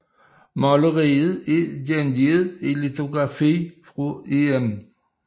Maleriet er gengivet i litografi fra Em